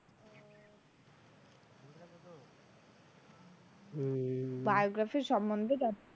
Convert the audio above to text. হম biography সম্মন্ধে জানতে,